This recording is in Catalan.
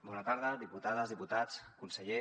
bona tarda diputades diputats conseller